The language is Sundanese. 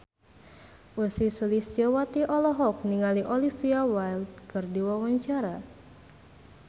Ussy Sulistyawati olohok ningali Olivia Wilde keur diwawancara